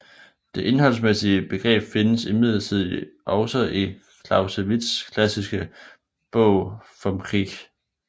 Det indholdsmæssige begreb findes imidlertid også i Clausewitzs klassiske bog Vom Kriege